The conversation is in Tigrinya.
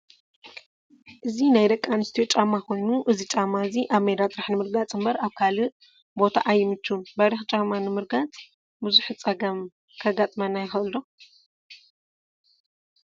እዚ ናይ ደቂ ኣንስትዮ ጫማ ኮይኑ እዚ ጫማ እዚ ኣብ ሜዳ ጥራሕ ንምርጋፅ እምበር ኣብ ካሊእ ቦታ ኣይምችውን። በሪክ ጫማ ምርጋፅ ብዙሕ ፀገም ከጋጥመና ይክእል ዶ ?